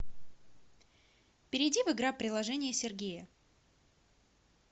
перейди в игра приложение сергея